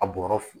A bɔrɔ fi